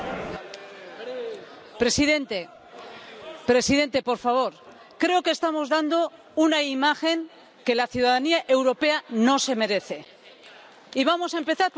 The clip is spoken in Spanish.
Señor presidente, por favor, creo que estamos dando una imagen que la ciudadanía europea no se merece, y vamos a empezar por la autocrítica.